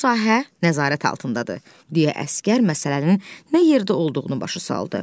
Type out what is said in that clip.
Bu sahə nəzarət altındadır, deyə əsgər məsələnin nə yerdə olduğunu başa saldı.